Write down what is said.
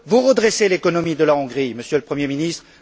Vous redressez l'économie de la Hongrie, Monsieur le Premier ministre.